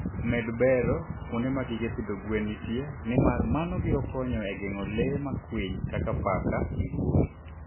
Med bero kuonde ma gige pidho gwen nitie, nimar mano biro konyo e geng'o le ma kwiny kaka paka gi guogi.